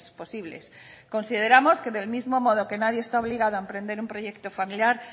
posibles consideramos que del mismo modo que nadie está obligado a emprender un proyecto familiar